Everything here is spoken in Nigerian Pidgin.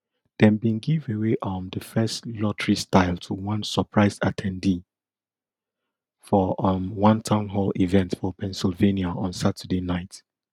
dem bin give away um di first lotterystyle to one surprised at ten dee for um one town hall event for pennsylvania on saturday night